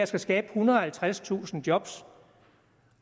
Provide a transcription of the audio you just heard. skal skabe ethundrede og halvtredstusind job